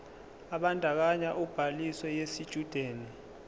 ebandakanya ubhaliso yesitshudeni